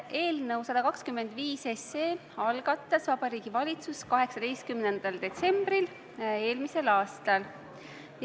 Eelnõu 125 algatas Vabariigi Valitsus eelmise aasta 18. detsembril.